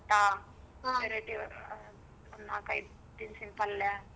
ಭತ್ತ variety ಒಂದು ನಲ್ಕೈದ್ ತಿನಸಿನ್ ಪಲ್ಯ.